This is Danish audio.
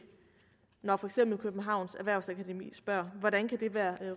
når for eksempel københavns erhvervsakademi spørger hvordan det kan være